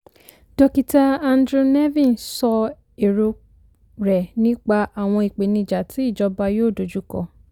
dókítà andrew nevin sọ èrò rẹ̀ nípa àwọn ìpèníjà tí ìjọba yóò dojú kọ.